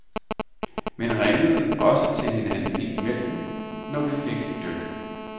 Men ringede også til hinanden ind imellem, når vi fik et dyk.